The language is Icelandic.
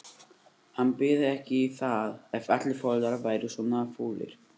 Hann byði ekki í það ef allir foreldrar væru svona fúlir.